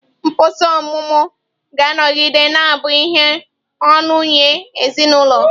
Mkpọsa ọmụmụ ga-anọgide na-abụ ihe ọṅụ nye ezinụlọ.